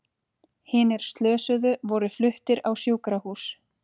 Hinir slösuðu voru fluttir á sjúkrahús